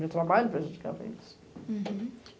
Meu trabalho prejudicava eles. Hurum.